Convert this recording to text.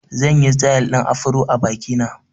Zan yi sitil ɗin Afro a biki na